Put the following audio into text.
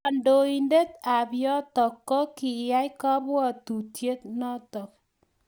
kandoindet ab yotok ko koiyan kabuatutiet notok